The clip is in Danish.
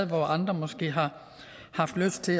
hvor andre måske har haft lyst til